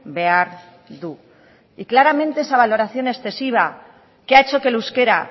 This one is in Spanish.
behar du y claramente esa valoración excesiva que ha hecho que el euskera